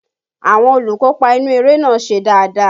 Àwọn olùkópa inú eré náà ṣe dáadáa